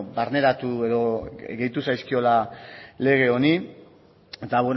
beno barneratu edo gehitu zaizkiola lege honi eta